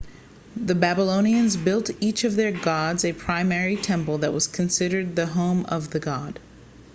the babylonians built each of their gods a primary temple that was considered the home of the god